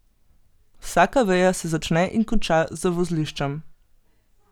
Vsaka veja se začne in konča z vozliščem.